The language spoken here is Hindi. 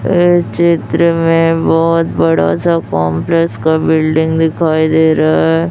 ये चित्र में बोहोत बड़ा सा कॉम्प्लेक्स का बिल्डिंग दिखाई दे रहा है।